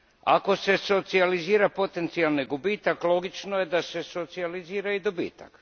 Ako se socijalizira potencijalni gubitak, logično je da se socijalizira i dobitak.